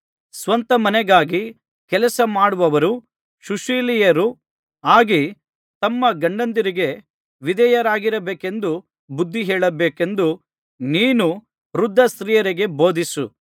ಸ್ವಂತಮನೆಗಾಗಿ ಕೆಲಸಮಾಡುವವರೂ ಸುಶೀಲೆಯರೂ ಆಗಿ ತಮ್ಮ ಗಂಡಂದಿರಿಗೆ ವಿಧೇಯರಾಗಿರಬೇಕೆಂದು ಬುದ್ಧಿಹೇಳಬೇಕೆಂದು ನೀನು ವೃದ್ಧ ಸ್ತ್ರೀಯರಿಗೆ ಬೋಧಿಸು